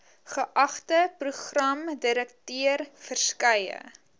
geagte programdirekteur verskeie